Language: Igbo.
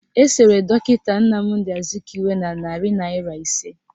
Esere dọkịta Nnamdi Azikiwe n' narị naịra ise